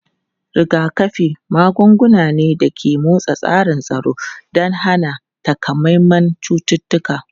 Rigakafi magunguna ne da ke motsa tsarin tsaro don hana takamaiman cututtuka.